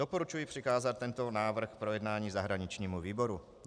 Doporučuji přikázat tento návrh k projednání zahraničnímu výboru.